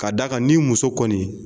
Ka d'a kan ni muso kɔni